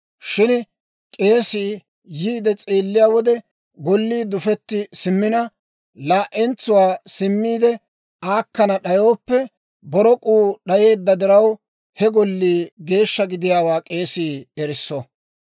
«Shin k'eesii yiide s'eelliyaa wode, gollii dufetti simmina laa"entsuwaa simmiide aakkana d'ayooppe, borok'uu d'ayeedda diraw, he gollii geeshsha gidiyaawaa k'eesii erisso.